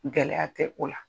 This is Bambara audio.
Gɛlɛya tɛ o la.